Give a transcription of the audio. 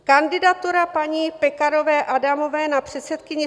Kandidaturu paní Pekarové Adamové na předsedkyni